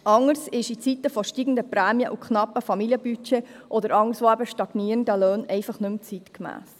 Anderes ist in Zeiten steigender Prämien, knapper Familienbudgets und stagnierender Löhne einfach nicht mehr zeitgemäss.